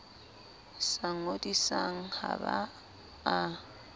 sa ngodisang ha ba a